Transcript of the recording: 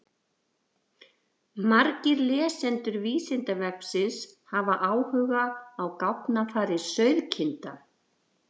Margir lesendur Vísindavefsins hafa áhuga á gáfnafari sauðkinda.